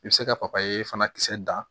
I bɛ se ka papaye fana kisɛ dan